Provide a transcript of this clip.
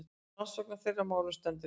Rannsókn á þeirra málum stendur yfir.